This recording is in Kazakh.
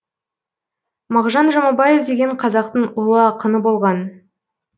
мағжан жұмабаев деген қазақтың ұлы ақыны болған